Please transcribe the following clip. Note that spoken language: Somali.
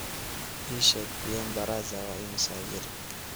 ii sheeg bien baraza waa imisa jir